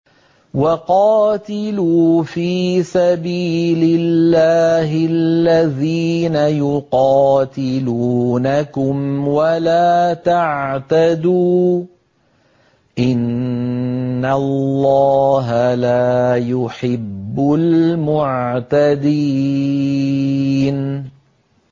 وَقَاتِلُوا فِي سَبِيلِ اللَّهِ الَّذِينَ يُقَاتِلُونَكُمْ وَلَا تَعْتَدُوا ۚ إِنَّ اللَّهَ لَا يُحِبُّ الْمُعْتَدِينَ